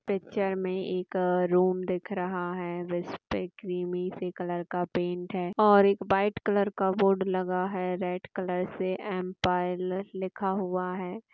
Picture में एक room दिख रहा है रस्ट क्रीमी से कलर का पेंट है और एक व्हाइट कलर का बोर्ड लगा है रेड कलर से और एम पायल लिखा हुआ है।